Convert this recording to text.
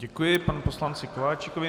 Děkuji panu poslanci Kováčikovi.